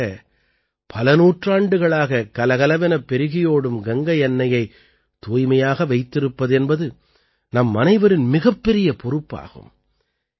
இவ்வாறாக பல நூற்றாண்டுகளாகக் கலகலவெனப் பெருகியோடும் கங்கை அன்னையைத் தூய்மையாக வைத்திருப்பது என்பது நம்மனைவரின் மிகப்பெரிய பொறுப்பாகும்